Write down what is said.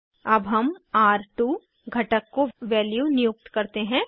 अब हम र2 घटक को वैल्यू नियुक्त करते हैं